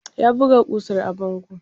Ta buga ƙusar a bango.